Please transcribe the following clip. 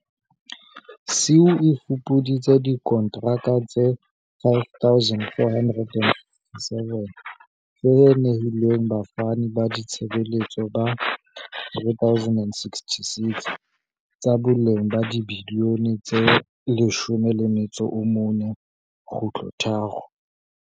SIU e fupuditse dikontraka tse 5 467 tse nehilweng bafani ba ditshebeletso ba 3 066, tsa boleng ba dibiliyone tse R14.3.